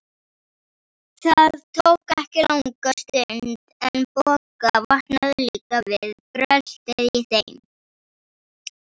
Það tók ekki langa stund, en Bogga vaknaði líka við bröltið í þeim.